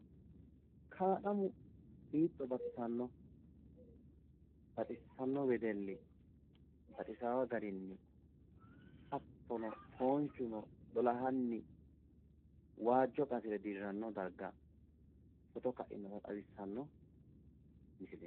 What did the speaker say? Kalaqamu hiitto baxisanno, baxissanno wedelli, baxisaawo garinni hattono foonchuno lolahanni waajjo qasire dirranno darga footo ka'inota xawissanno misileeti.